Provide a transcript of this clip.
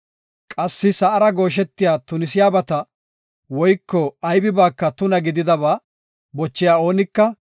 Qassi sa7ara gooshetiya tunisiyabata, woyko aybibanka tuna gididaba bochiya oonika,